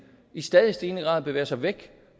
i stadig stigende grad bevæger sig væk